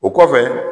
O kɔfɛ